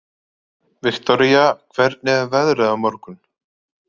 Viktoria, hvernig er veðrið á morgun?